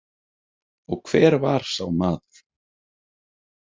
Og hver var sá maður?